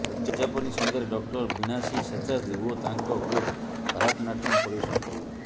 ଉଦଯାପନୀ ସନ୍ଧ୍ୟାରେ doctor Veena C Seshadri ଓ ତାଙ୍କ ଗ୍ରୁପ୍ ଭାରତନାଟ୍ୟମ ପରିବେଷଣ କରିବେ